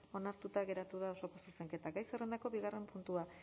onartuta geratu da osoko zuzenketa gai zerrendako bigarren puntua